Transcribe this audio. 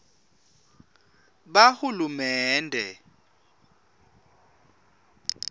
bahulumende